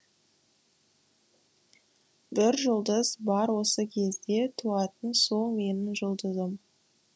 бір жұлдыз бар осы кезде туатын сол менің жұлдызым